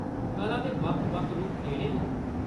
कला दे बक्ख-बक्ख रूप केह्‌ड़े‌ न?